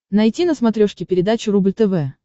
найти на смотрешке передачу рубль тв